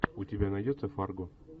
у тебя найдется фарго